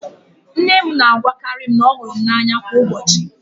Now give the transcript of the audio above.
Nne m na-agwakarị m na ọ hụrụ m n'anya kwa ụbọchị.